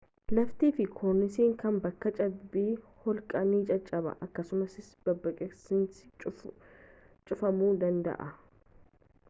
laftii fi korniisni kan bakka cabbii holqaa ni caccaba akkasumas babbaqiinsisaa cufamuu danda'a